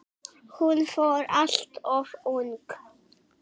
Hún fór alltof ung.